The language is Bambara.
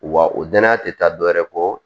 Wa o danaya tɛ taa dɔ wɛrɛ kɔ